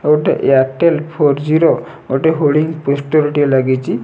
ଆଉ ଗୋଟେ Airtel four G ର ଗୋଟେ ହୋଡ଼ିଙ୍ଗ୍ ପୋଷ୍ଟର୍ ଟିଏ ଲାଗିଚି।